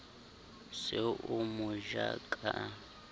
se o mo ja ka